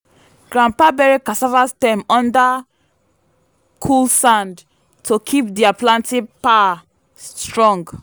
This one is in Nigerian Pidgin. grandpa bury cassava stem under cool sand to keep their planting power strong.